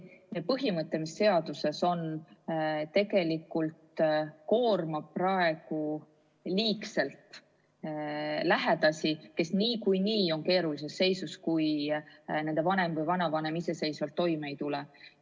Kas see põhimõte, mis seaduses on, tegelikult koormab praegu liigselt lähedasi, kes niikuinii on keerulises seisus, kui nende vanem või vanavanem iseseisvalt toime ei tule?